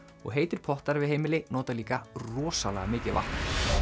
og heitir pottar við heimili nota líka rosalega mikið vatn